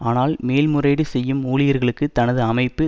ஆனால் மேல் முறையீடு செய்யும் ஊழியர்களுக்கு தனது அமைப்பு